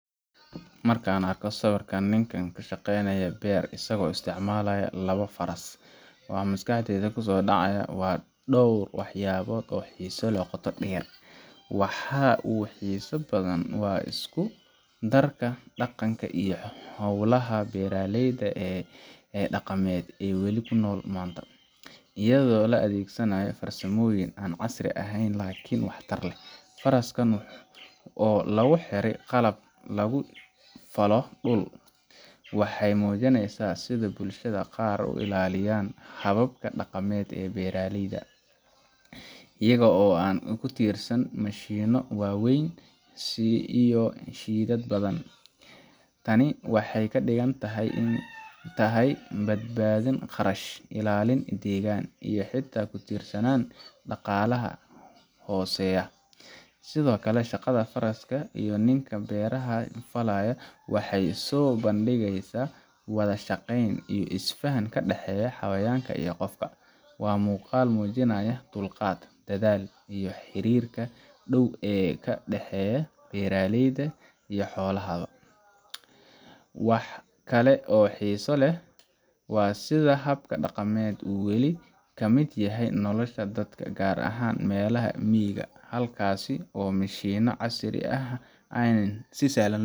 Marka aan arko sawirka nin ku shaqaynaya beer isagoo isticmaalaya labo faras, waxa maskaxdayda ku soo dhacaya dhowr waxyaalood oo xiiso leh oo qoto dheer. Waxa ugu xiisaha badan waa isku darka dhaqanka iyo howlaha beeraleyda ee dhaqameed oo weli nool maanta, iyadoo la adeegsanayo farsamooyin aan casri ahayn laakiin waxtar leh. Faraska oo lagu xiro qalabka lagu falo dhulka, waxay muujinaysaa sida bulshada qaar ay u ilaalinayaan hababka dhaqameed ee beeraleyda, iyagoo aan ku tiirsaneyn mashiinno waaweyn iyo shidaal badan. Tani waxay ka dhigan tahay badbaadin kharash, ilaalin deegaan, iyo ku tiirsanaan dhaqaalaha hooseeya. Sidoo kale, shaqada faraska iyo ninka beeraha falaya waxay soo bandhigaysaa wada shaqeyn iyo isfaham ka dhexeeya xayawaanka iyo qofka. Waa muuqaal muujinaya dulqaadka, dadaalka, iyo xiriirka dhow ee ka dhexeeya beeraleyda iyo xoolahooda. Wax kale oo xiiso leh waa sida habkan dhaqameed uu weli ka mid yahay nolosha dadka, gaar ahaan meelaha miyiga ah, halkaas oo mashiinaha casriga ah aanay si sahlan